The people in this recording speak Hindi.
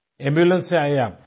एम्बुलेंस से आये आप